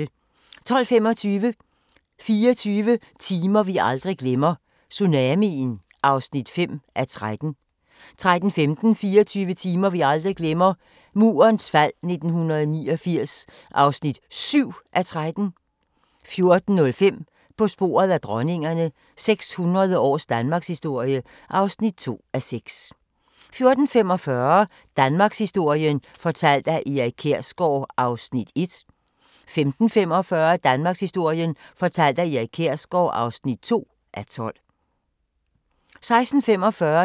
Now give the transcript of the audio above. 12:25: 24 timer vi aldrig glemmer – Tsunamien (5:13) 13:15: 24 timer vi aldrig glemmer – Murens fald 1989 (7:13) 14:05: På sporet af dronningerne – 600 års danmarkshistorie (2:6) 14:45: Danmarkshistorien fortalt af Erik Kjersgaard (1:12) 15:45: Danmarkshistorien fortalt af Erik Kjersgaard (2:12) 16:45: